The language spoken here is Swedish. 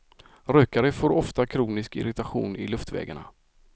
Rökare får ofta kronisk irritation i luftvägarna.